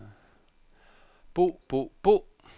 bo bo bo